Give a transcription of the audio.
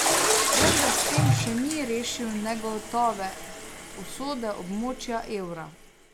Vendar s tem še ni rešil negotove usode območja evra.